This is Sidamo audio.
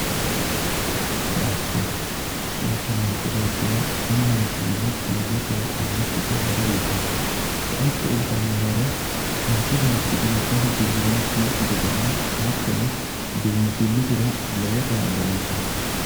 koatte ,koatte manchii beetira tenneeti yine tunqannikkitta horo uytanno koatte uytanno horo manchi beeti lekkasi gufisiraakki gedenna hatto biinfillisira lowo kaa'lo uytanno